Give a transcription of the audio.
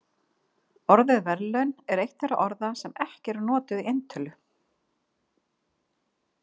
Orðið verðlaun er eitt þeirra orða sem ekki eru notuð í eintölu.